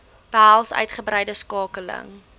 behels uitgebreide skakeling